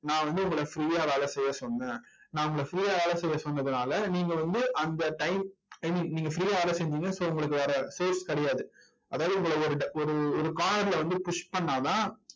நான் வந்து உங்களை free யா வேலை செய்ய சொன்னேன் நான் உங்களை free யா வேலை செய்ய சொன்னதுனால நீங்க வந்து அந்த time, I mean நீங்க free ஆ வேலை செஞ்சீங்க so உங்களுக்கு வேற source கிடையாது. அதாவது உங்களை ஒரு ஒரு corner ல வந்து push பண்ணா தான்